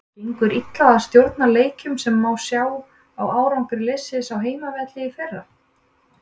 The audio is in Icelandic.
Gengur illa að stjórna leikjum sem má sjá á árangri liðsins á heimavelli í fyrra.